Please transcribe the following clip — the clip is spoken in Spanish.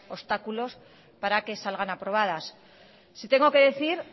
obstáculos para que salgan aprobadas sí tengo que decir